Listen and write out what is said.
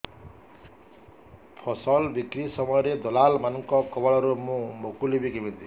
ଫସଲ ବିକ୍ରୀ ସମୟରେ ଦଲାଲ୍ ମାନଙ୍କ କବଳରୁ ମୁଁ ମୁକୁଳିଵି କେମିତି